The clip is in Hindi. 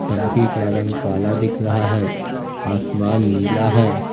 टंकी का रंग काला दिख रहा है आसमान नीला है।